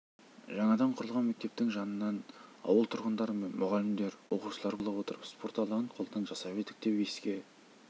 жаңадан құрылған мектептің жанынан ауыл тұрғындары мен мұғалімдер оқушылар бола отырып спорт алаңын қолдан жасап едік деп еске